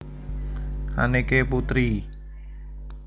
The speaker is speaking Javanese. Anneke Putri